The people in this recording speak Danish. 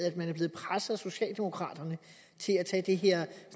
at man er blevet presset af socialdemokraterne til at tage det her